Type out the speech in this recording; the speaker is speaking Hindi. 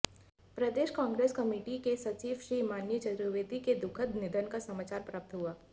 प्रदेश कांग्रेस कमेटी के सचिव श्री मनीष चतुर्वेदी के दुखद निधन का समाचार प्राप्त हुआ